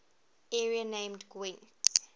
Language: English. area named gwent